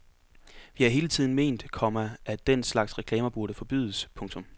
Vi har hele tiden ment, komma at den slags reklamer burde forbydes. punktum